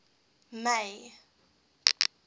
may